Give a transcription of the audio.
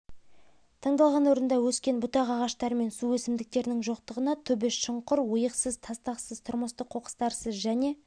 таңдалған орында өскен бұтақ ағаштары мен су өсімдіктерінің жоқтығына түбі шұңқыр ойықсыз тастақсыз тұрмыстық қоқыстарсыз және